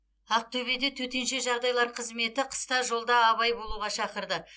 ақтөбеде төтенше жағдайлар қызметі қыста жолда абай болуға шақырды